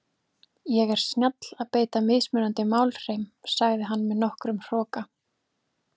Ég er snjall að beita mismunandi málhreim, sagði hann með nokkrum hroka.